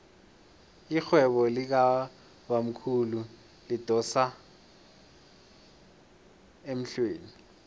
irhwebo likabamkhulu lidosa emhlweni